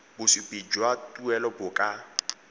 bosupi jwa tuelo bo ka